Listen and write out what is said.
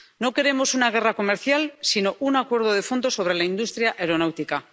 No queremos una guerra comercial, sino un acuerdo de fondo sobre la industria aeronáutica.